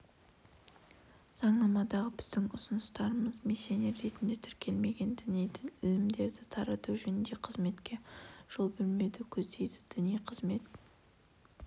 заңнамадағы біздің ұсыныстарымыз миссионер ретінде тіркелмеген діни ілімдерді тарату жөніндегі қызметке жол бермеуді көздейді діни қызмет